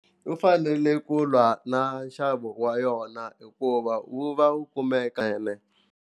U fanele ku lwa na nxavo wa yona hikuva wu va wu kumekene.